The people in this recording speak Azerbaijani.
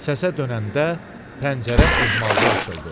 Səsə dönəndə pəncərə ehmalca açıldı.